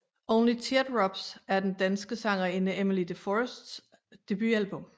Only Teardrops er den danske sangerinde Emmelie de Forests debutalbum